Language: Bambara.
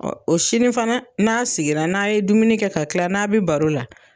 o sini fana n'a sigira n'a ye dumuni kɛ ka kila n'a' bɛ baro la